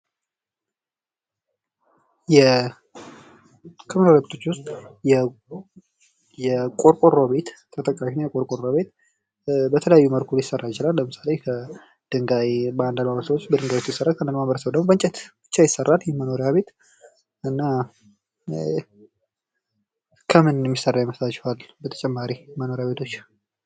ከመኖሪያ ቤቶች ውስጥ የቆርቆሮ ቤት ተጠቃሽ ነው የቆርቆሮ ቤት በተለያየ መልኩ ሊሰራ ይችላል። ለምሳሌ አንዳንድ ማህበረሰብ በድንጋይ ሲሰራ አንዳንድ ማህበረሰብ ደግሞ በእንጨት ይሰራል። ይህ መኖርያ ቤት እና ከምን የሚሠራ ይመስላችኋል በተጨማሪ መኖሪያ ቤቶች?